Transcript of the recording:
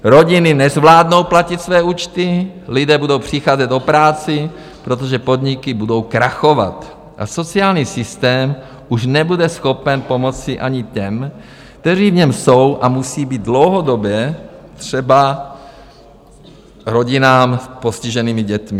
Rodiny nezvládnou platit své účty, lidé budou přicházet o práci, protože podniky budou krachovat, a sociální systém už nebude schopen pomoci ani těm, kteří v něm jsou, a musí být, dlouhodobě, třeba rodinám s postiženými dětmi.